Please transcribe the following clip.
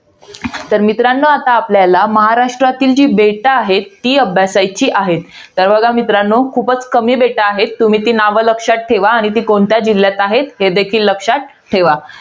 तर मित्रांनो आता आपल्याला, महाराष्ट्रातील जी बेटं आहेत. ती अभ्यासायची आहेत. तर बघा मित्रांनो, खूपच कमी बेटं आहेत. तुम्ही ती नावं लक्षात ठेवा, आणि ती कोणत्या जिल्ह्यात आहेत हे देखील लक्षात ठेवा.